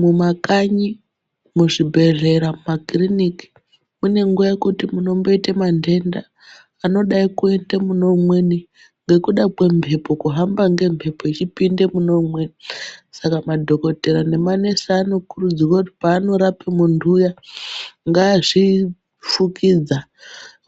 Mumakanyi, muzvibhedhlera mumakiriniki munenguwa yekuti munomboita mantenda anodai kuita muneumweni ngekuda kwemhepo kuhamba ngemhepo echipinde mune umweni. Saka madhogodheya nemanesi anokuridzirwa kuti peanorape muntu uya ngazvifukidza,